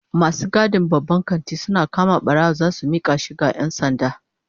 Masu gadin babban kanti suna kama barawo zasu mika shi ga 'yan sanda